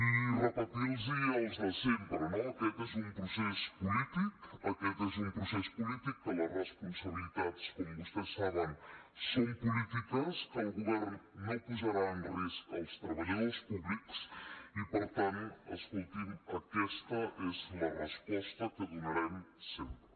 i repetir los el de sempre no aquest és un procés polític aquest és un procés polític que les responsabilitats com vostès saben són polítiques que el govern no posarà en risc els treballadors públics i per tant escolti’m aquesta és la resposta que donarem sempre